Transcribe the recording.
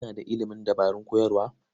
Kana da ilimin dabarun koyarwa?